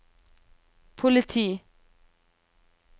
politi